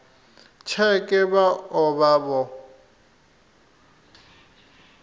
tsheke vha o vha vho